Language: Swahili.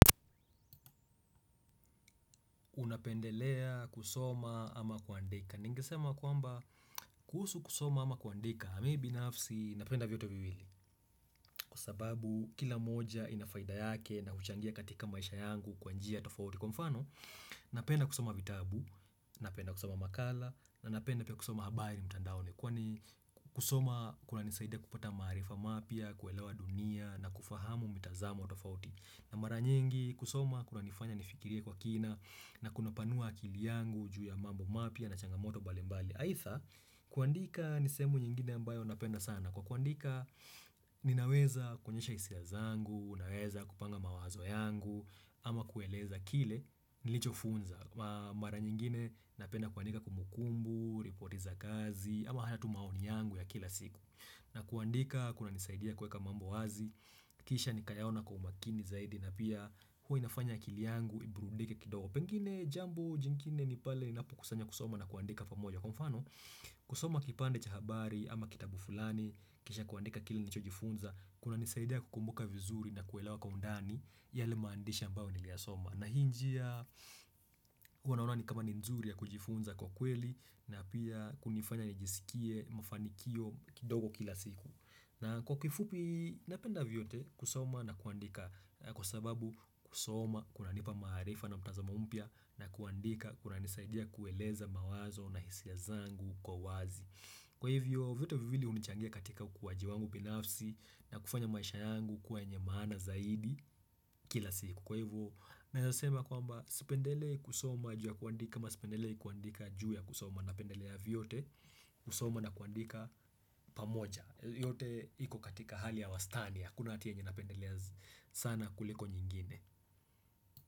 Unapendelea kusoma ama kuandika Ningesema kwamba kuhusu kusoma ama kuandika mi binafsi napenda vyote viwili Kwa sababu kila moja inafaida yake na kuchangia katika maisha yangu kwa njia tofauti Kwa mfano napenda kusoma vitabu, napenda kusoma makala na napenda kusoma habari mtandaoni Kwani kusoma kunanisaida kupata maarifa mapya, kuelewa dunia na kufahamu mitazamo tofauti na mara nyingi kusoma kuna nifanya nifikiri kwa kina na kunapanua akili yangu juu ya mambo mapya na changamoto mbalimbali Haitha kuandika ni sehemu nyingine ambayo napenda sana kuandika ninaweza kuonyesha hisia zangu, naweza kupanga mawazo yangu ama kueleza kile nilichofunzwaa Mara nyingine napenda kuandika kumbukumbu, ripoti za kazi ama haya tumaoni yangu ya kila siku na kuandika, kunanisaidia kuweka mambo wazi, kisha nikayaona kwa umakini zaidi na pia huwa inafanya akili yangu iburudike kidogo. Pengine jambo jingine ni pale ninapokusanya kusoma na kuandika pamoja. Kwa mfano, kusoma kipande cha habari ama kitabu fulani, kisha kuandika kile nilichojifunza, kunanisaidia kukumbuka vizuri na kuelewa kwa undani yale maandishi ambao niliyasoma. Na hii njia huwa naona ni kama ni nzuri ya kujifunza kwa kweli na pia kunifanya nijisikie mafanikio kidogo kila siku na kwa kifupi napenda vyote kusoma na kuandika kwa sababu kusoma kunanipa maarifa na mtazamo mpya na kuandika kunanisaidia kueleza mawazo na hisia zangu kwa wazi Kwa hivyo vitu viwili hunichangia katika ukuwaji wangu binafsi na kufanya maisha yangu kuwa enye maana zaidi kila siku Kwa hivyo naeza sema kwamba sipendelei kusoma juu ya kuandika ama sipendelei kuandika juu ya kusoma na pendelea vyote kusoma na kuandika pamoja yote iko katika hali ya wastani hakuna hati yenye napendelea sana kuliko nyingine.